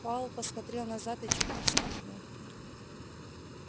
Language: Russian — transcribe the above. пауэлл посмотрел назад и чуть не вскрикнул